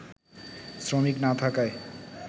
শ্রমিক না থাকায়